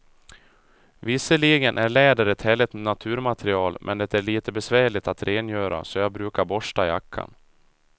Visserligen är läder ett härligt naturmaterial, men det är lite besvärligt att rengöra, så jag brukar borsta jackan.